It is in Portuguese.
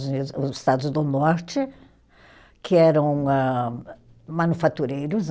Estados do Norte, que eram âh, manufatureiros,